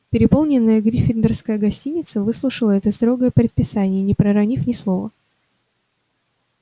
переполненная гриффиндорская гостиница выслушала это строгое предписание не проронив ни слова